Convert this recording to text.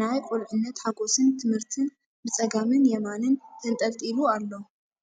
ናይ ቁልዕነት ሓጎስን ትምህርትን ብጸጋምን የማንን ተንጠልጢሉ ኣሎ!